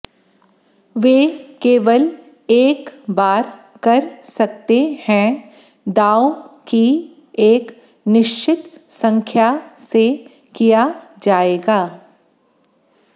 वे केवल एक बार कर सकते हैं दांव की एक निश्चित संख्या से किया जाएगा